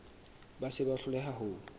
ba se ba hloleha ho